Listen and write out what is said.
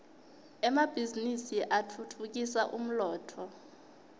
emabhiznnisi atfutfukisa umnotfo